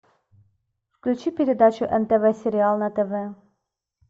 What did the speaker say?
включи передачу нтв сериал на тв